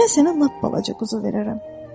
Mən sənə lap balaca quzu verərəm.